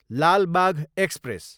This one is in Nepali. लाल बाघ एक्सप्रेस